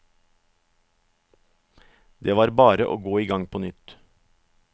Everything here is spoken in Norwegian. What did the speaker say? Det var bare å gå i gang på nytt.